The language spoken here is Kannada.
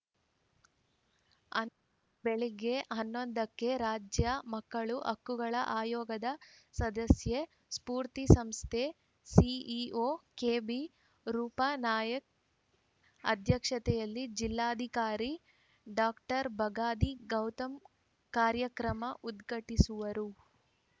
ಅಂದು ಬೆಳಿಗ್ಗೆ ಹನ್ನೊಂದ ಕ್ಕೆ ರಾಜ್ಯ ಮಕ್ಕಳ ಹಕ್ಕುಗಳ ಆಯೋಗದ ಸದಸ್ಯ ಸ್ಪೂರ್ತಿ ಸಂಸ್ಥೆ ಸಿಇಒ ಕೆಬಿರೂಪಾ ನಾಯ್ಕ ಅಧ್ಯಕ್ಷತೆಯಲ್ಲಿ ಜಿಲ್ಲಾಧಿಕಾರಿ ಡಾಕ್ಟರ್ ಬಗಾದಿ ಗೌತಮ್‌ ಕಾರ್ಯಕ್ರಮ ಉದ್ಘಾಟಿಸುವರು